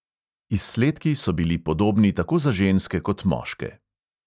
Izsledki so bili podobni tako za ženske kot moške.